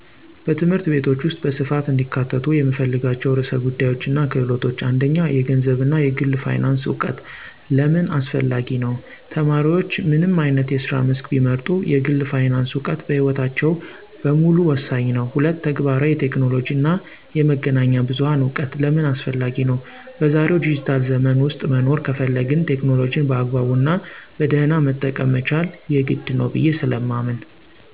በትምህርት ቤቶች ውስጥ በስፋት እንዲካተቱ የምፈልጋቸው ርዕሰ ጉዳዮችና ክህሎቶች፦ 1. የገንዘብ እና የግል ፋይናንስ እውቀት * ለምን አስፈላጊ ነው? ተማሪዎች ምንም አይነት የስራ መስክ ቢመርጡ፣ የግል ፋይናንስ እውቀት በሕይወታቸው በሙሉ ወሳኝ ነው። 2. ተግባራዊ የቴክኖሎጂ እና የመገናኛ ብዙሃን እውቀት * ለምን አስፈላጊ ነው? በዛሬው ዲጂታል ዘመን ውስጥ መኖር ከፈለግን፣ ቴክኖሎጂን በአግባቡና በደህና መጠቀም መቻል የግድ ነው ብየ ስለማምን።